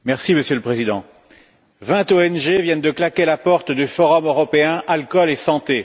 Monsieur le Président, vingt ONG viennent de claquer la porte du forum européen alcool et santé.